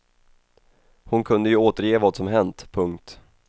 Hon kunde ju återge vad som hänt. punkt